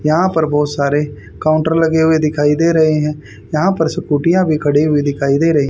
यहां पर बहुत सारे काउंटर लगे हुए दिखाई दे रहे हैं यहां पर स्कूटियां भी खड़ी हुई दिखाई दे रही।